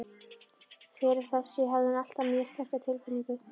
Fyrir þessu hafði hún alltaf mjög sterka tilfinningu.